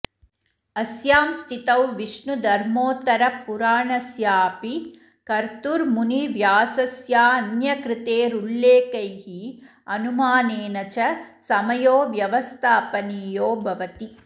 अस्यां स्थितौ विष्णुधर्मोत्तरपुराणस्याऽपि कर्तुर्मुनिव्यासस्यान्यकृतैरुल्लेखैः अनुमानेन च समयो व्यवस्थापनीयो भवति